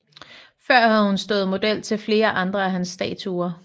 Før havde hun stået model til flere andre af hans statuer